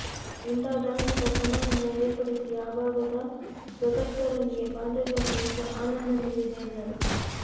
ಇಂಥ ಧಾರ್ಮಿಕ ಸಮಾರಂಭ ಏರ್ಪಡಿಸಿ ಈ ಭಾಗದ ಸದ್ಭಕ್ತರೊಂದಿಗೆ ಬಾಂಧವ್ಯ ಹೊಂದಿದ್ದು ಆನಂದ ನೀಡಿದೆ ಎಂದರು